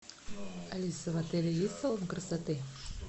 алиса в отеле есть салон красоты